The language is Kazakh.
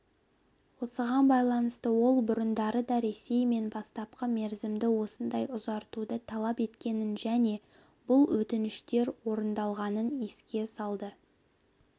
осыған байланысты ол бұрындары да ресей мен бастапқы мерзімді осындай ұзартуды талап еткенін және бұл өтініштер орындалғанын еске салды